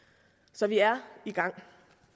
så vi er i gang